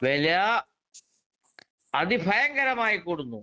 വെല അതിഭയങ്കരമായി കൂടുന്നു.